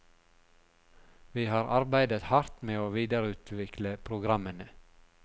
Vi har arbeidet hardt med å videreutvikle programmene.